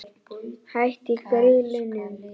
Hætt í Grýlunum?